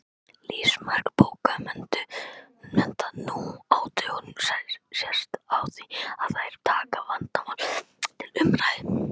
Lífsmark bókmennta nú á dögum sést á því að þær taka vandamál til umræðu.